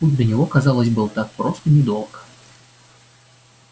путь до него казалось был так прост и недолог